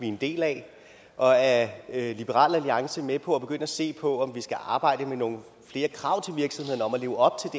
en del af og er liberal alliance med på at begynde at se på om vi skal arbejde med nogle flere krav til virksomhederne om at leve op